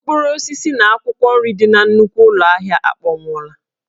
Mkpụrụ osisi na akwụkwọ nri dị na nnukwu ụlọ ahịa a akpọnwụwo